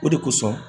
O de kosɔn